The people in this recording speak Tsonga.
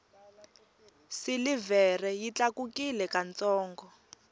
silivhere yi tlakukile ka ntsongo